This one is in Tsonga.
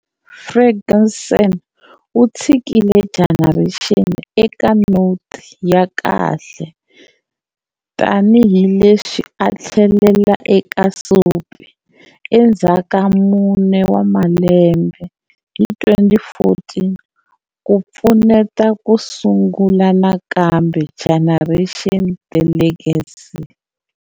Ferguson u tshikile Generations eka noti ya kahle tani hi leswi a tlheleleka eka Soapie endzhaka mune wa malembe, hi 2014, ku pfuneta ku sungula nakambe"Generations-The Legacy".